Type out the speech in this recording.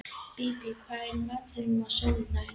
Bíbí, hvað er í matinn á sunnudaginn?